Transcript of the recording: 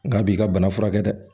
Nka b'i ka bana furakɛ dɛ